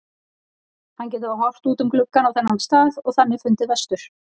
Hann getur þá horft út um gluggann á þennan stað og þannig fundið vestur.